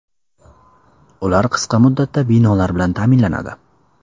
Ular qisqa muddatda binolar bilan ta’minlanadi.